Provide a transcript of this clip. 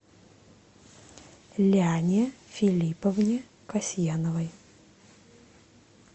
ляне филипповне касьяновой